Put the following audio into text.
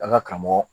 An ka karamɔgɔ